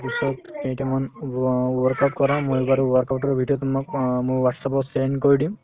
পিছত কেইটামান wo work out কৰা মই বাৰু work out ৰ ভিতৰত তোমাক অ মোৰ whatsapp ত send কৰি দিম